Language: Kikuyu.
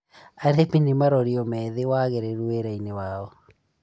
Arĩmi nĩ marorio meethe waagĩrĩru wirainĩ wao